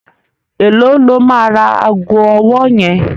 Èló lo máa ra ago ọwọ́ yẹn?